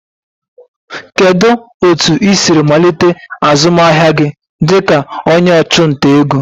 Kedu otu ị siri malite azụmahịa gị dịka onye ọchụnta ego?